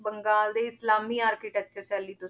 ਬੰਗਾਲ ਦੇ ਇਸਲਾਮੀ architecture ਸ਼ੈਲੀ ਤੋਂ